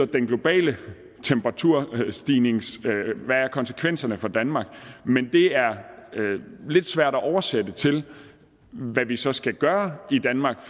den globale temperaturstigning betyder og hvad konsekvenserne er for danmark men det er lidt svært at oversætte til hvad vi så skal gøre i danmark